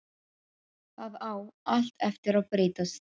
Það á allt eftir að breytast!